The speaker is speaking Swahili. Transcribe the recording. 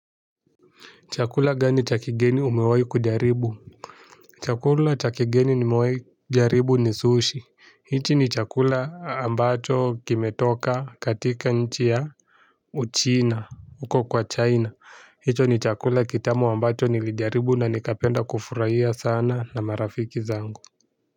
Chakula gani cha kigeni umewahi kujaribu. Chakula cha kigeni nimewahi kujaribu ni sushi. Hichi ni chakula ambacho kimetoka katika nchi ya uchina, huko kwa China. Hicho ni chakula kitamu ambacho nilijaribu na nikapenda kufurahia sana na marafiki zangu.